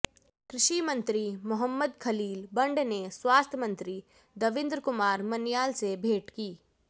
कृशि मंत्री मोहम्मद खलील बंड ने स्वास्थ्य मंत्री दविन्द्र कुमार मन्याल से भेंट की